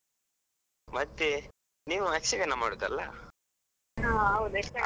ಹಾ, ಹೌದು ಯಕ್ಷಗಾನ.